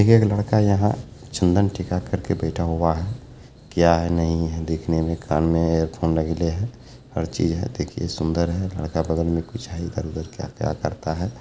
एक-एक लड़का यहाँ चंदन टीका करके बैठा हुआ है| क्या है नहीं है| दिखने में कान में हैंडफोन लगेले है हर चीज है देखिए सुंदर है लड़का बगल में कुछ है इधर-उधर क्या-क्या करता है।